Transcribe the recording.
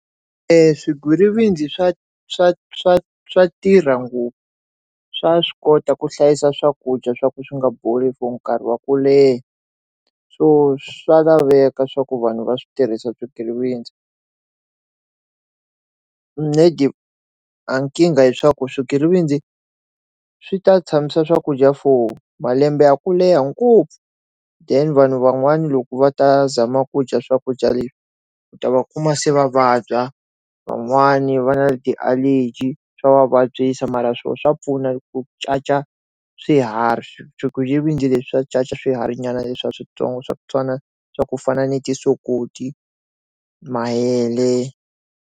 Swigwitsirisi swa swa swa swa tirha ngopfu swa swi kota ku hlayisa swakudya swa ku swi nga boli for nkarhi wa ku leha so swa laveka swa ku vanhu va swi tirhisa swigwitsirisi a nkingha leswaku swigwitsirisi swi ta tshamisa swakudya for malembe ya ku leha ngopfu then vanhu van'wana loko va ta zama ku dya swakudya leswi ku ta va kuma se vavabya van'wani va Va na ti allergy swa vavabyisa mara swo swa pfuna ku caca swiharhi swigwitsirisi leswi swa caca swihari nyana leswiya switsongo swa ku twana swa ku fana na ti sokoti mahele.